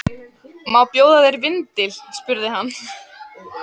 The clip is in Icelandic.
Má bjóða þér vindil? spurði hann.